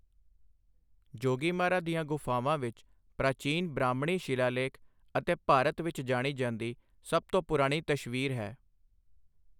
ਜੋਗੀਮਾਰਾ ਦੀਆਂ ਗੁਫ਼ਾਵਾਂ ਵਿੱਚ ਪ੍ਰਾਚੀਨ ਬ੍ਰਾਹਮਣੀ ਸ਼ਿਲਾਲੇਖ ਅਤੇ ਭਾਰਤ ਵਿੱਚ ਜਾਣੀ ਜਾਂਦੀ ਸਭ ਤੋਂ ਪੁਰਾਣੀ ਤਸ਼ਵੀਰ ਹੈ।